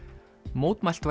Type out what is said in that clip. mótmælt